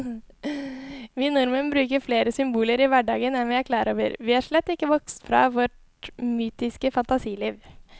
Vi nordmenn bruker flere symboler i hverdagen enn vi er klar over, vi er slett ikke vokst fra vårt mytiske fantasiliv.